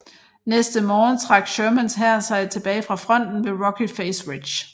Næste morgen trak Shermans hær sig tilbage fra fronten ved Rocky Face Ridge